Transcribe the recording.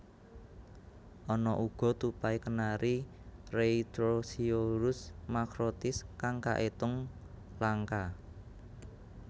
Ana uga tupai kenari Rheithrosciurus macrotis kang kaetung langka